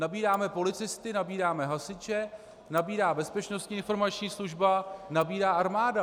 Nabíráme policisty, nabíráme hasiče, nabírá Bezpečnostní informační služba, nabírá armáda.